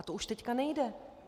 A to už teď nejde.